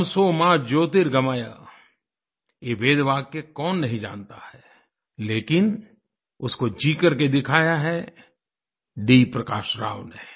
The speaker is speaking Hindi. तमसो मा ज्योतिर्गमय ये वेदवाक्य कौन नहीं जानता है लेकिन उसको जी करके दिखाया है डी प्रकाश राव ने